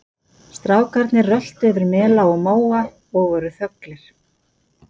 Strákarnir röltu yfir mela og móa og voru þöglir.